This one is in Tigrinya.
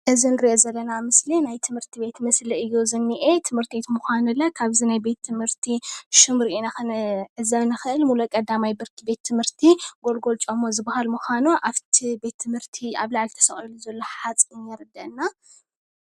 እዚ ንሪኦ ዘለና ምስሊ ናይ ትምህርት ቤት ምስሊ እዩ ዝኒኤ። ቤት ትምህርቲ ምዃኑ ለ ካብዚ ናይ ቤተ ትምህርቲ ሽሙ ሪኢና ክንዕዘብ ንክእል። ሙሉእ ቀዳማይ ብርኪ ቤት ትምህርቲ ጎልጎል ጮማ ዝበሃል ምዃኑ አብቲ ቤተ ትምህርቲ አብ ላዕሊ ተሰቒሉ ዘሎ ዘሎ ሓፂን የርደእና፡፡